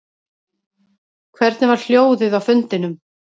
Hvernig var hljóðið á fundinum